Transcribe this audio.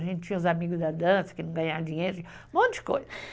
A gente tinha os amigos da dança que não ganhavam dinheiro, um monte de coisa.